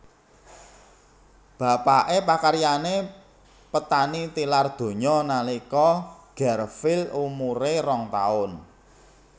Bapaké pakaryané petani tilar donya nalika Garfield umuré rong taun